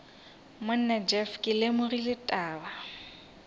monna jeff ke lemogile taba